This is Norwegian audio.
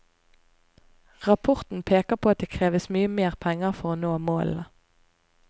Rapporten peker på at det kreves mye mer penger for å nå målene.